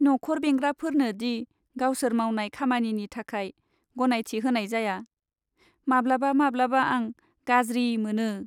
न'खर बेंग्राफोरनो दि गावसोर मावनाय खामानिनि थाखाय गनायथि होनाय जाया, माब्लाबा माब्लाबा आं गाज्रि मोनो।